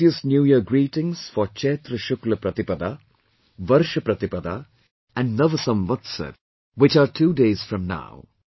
My heartiest new year greetings for Chaitra Shukla Pratipada, Varsh Pratipada, and Nav Samvatsar, which are two days from now